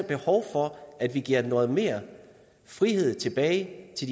behov for at vi giver noget mere frihed tilbage til